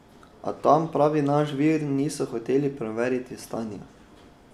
A tam, pravi naš vir, niso hoteli preveriti stanja.